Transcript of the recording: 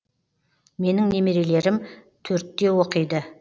менің немерелерім төртте оқиды